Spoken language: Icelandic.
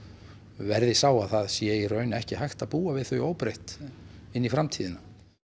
verði sá að það sé í raun ekki hægt að búa við þau óbreytt inn í framtíðina